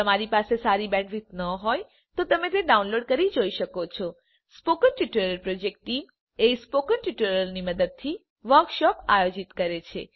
જો તમારી પાસે સારી બેન્ડવિડ્થ ન હોય તો તમે ડાઉનલોડ કરી તે જોઈ શકો છો spoken tutorial project team spoken ટ્યુટોરીયલોની મદદથી વર્કશોપ આયોજિત કરે છે